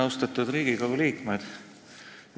Austatud Riigikogu liikmed!